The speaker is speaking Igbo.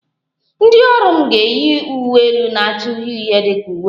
Ndị ọrụ m ga-eyi uwe elu na-acha uhie uhie dị ka uwe anyị